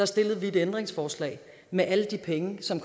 stillede vi et ændringsforslag med alle de penge som